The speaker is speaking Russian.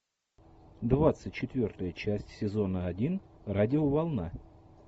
двадцать четвертая часть сезона один радиоволна